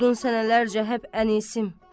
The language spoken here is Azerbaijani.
Oldun sənələrəcə hep ənisim.